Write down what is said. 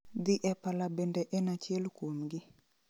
Dhi e pala bende en achiel kumgi